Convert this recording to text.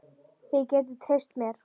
Þið getið treyst mér.